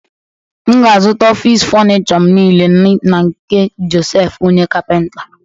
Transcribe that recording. M ga-azụta ọfịs fọnịchọ m niile n’nke Josef onye kapịnta.